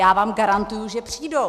Já vám garantuju, že přijdou.